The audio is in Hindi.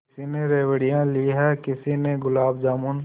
किसी ने रेवड़ियाँ ली हैं किसी ने गुलाब जामुन